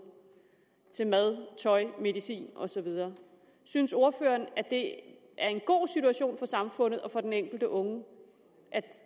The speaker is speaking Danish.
til mad tøj medicin og så videre synes ordføreren det er en god situation for samfundet og for den enkelte unge at